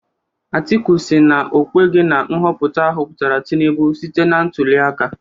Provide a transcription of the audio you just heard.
Atiku sịrị na okweghi na nhọpụta ahọpụtara Tinubu site na ntuliaka.